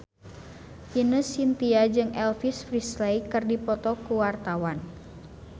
Ine Shintya jeung Elvis Presley keur dipoto ku wartawan